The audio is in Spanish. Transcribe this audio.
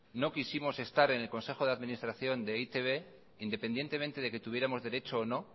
no quisimos estar en el consejo de administración de e i te be independientemente de que tuviéramos derecho o no